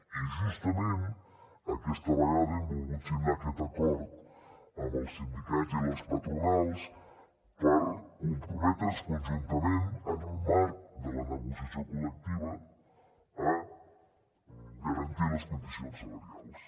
i justament aquesta vegada hem volgut signar aquest acord amb els sindicats i les patronals per comprometre’ns conjuntament en el marc de la negociació col·lectiva a garantir les condicions salarials